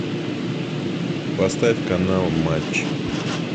поставь канал матч